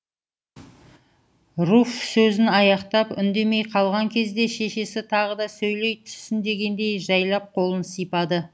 руф сөзін аяқтап үндемей қалған кезде шешесі тағы да сөйлей түссін дегендей жайлап қолын сипады